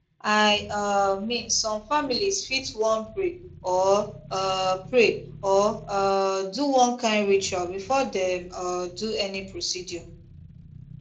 i um mean some families fit wan pray or um pray or um do one kind ritual before dem um do any procedure